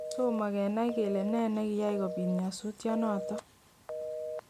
Tomo kenai kele ne nekiyai kobit nyosutyonoton